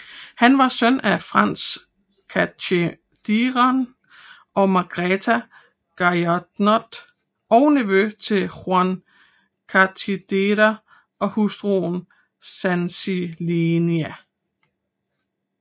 Han var søn af Franz Cachedenier og Margaretha Gaynoth og nevø til Juan Cachedenier og hustru Sansiellani